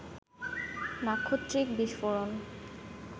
নাক্ষত্রিক বিস্ফোরণ